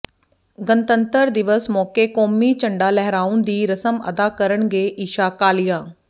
ਗਣਤੰਤਰ ਦਿਵਸ ਮੌਕੇ ਕੌਮੀ ਝੰਡਾ ਲਹਿਰਾਉਣ ਦੀ ਰਸਮ ਅਦਾ ਕਰਨਗੇ ਈਸ਼ਾ ਕਾਲੀਆ